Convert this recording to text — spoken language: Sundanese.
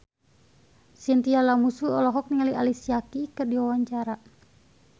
Chintya Lamusu olohok ningali Alicia Keys keur diwawancara